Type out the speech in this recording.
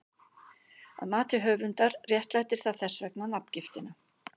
Að mati höfundar réttlætir það þess vegna nafngiftina.